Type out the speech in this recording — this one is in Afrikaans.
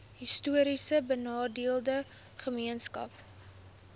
histories benadeelde gemeenskappe